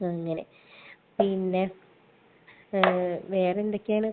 അങ്ങനെ. പിന്നെ വേറെന്തൊക്കെയാണ്?